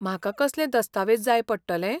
म्हाका कसलें दस्तावेज जाय पडटले?